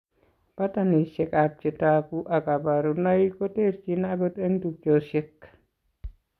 Pattanisiek ab chetogu ak kaborunoik koterchin akot eng' tubchosiek